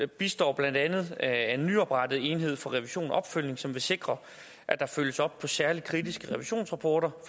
består blandt andet af en nyoprettet enhed for revision og opfølgning som vil sikre at der følges op på særlig kritiske revisionsrapporter